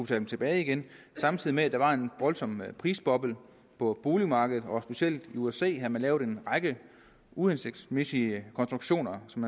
dem tilbage igen samtidig med at der var en voldsom prisboble på boligmarkedet og specielt i usa havde man lavet en række uhensigtsmæssige konstruktioner som